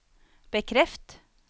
bekreft